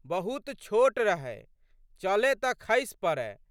बहुत छोट रहै। चलए तऽ खसि पड़ए।